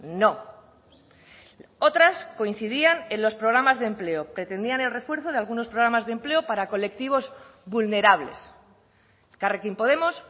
no otras coincidían en los programas de empleo pretendían el refuerzo de algunos programas de empleo para colectivos vulnerables elkarrekin podemos